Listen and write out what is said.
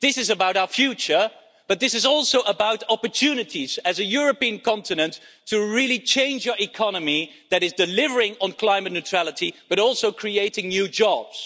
This is about our future, but this is also about opportunities as a European continent to really change our economy in a way that delivers on climate neutrality but also creates new jobs.